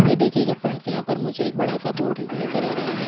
ये देखिएगा फ्रेंड्स यहा पर मुझे एक बड़ा सा बोर्ड नजर आ रहा है।